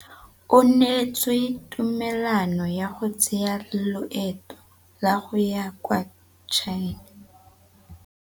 O neetswe tumalanô ya go tsaya loetô la go ya kwa China.